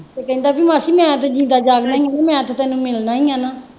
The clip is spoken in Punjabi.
ਤੇ ਕਹਿੰਦਾ ਜੀ ਮਾਸੀ ਮੈਂ ਤਾਂ ਜਿੰਦਾ ਜਾਗਦਾ ਹੀ ਹਾਂ ਮੈਂ ਤਾਂ ਤੈਨੂੰ ਮਿਲਣਾ ਹੀ ਹੈ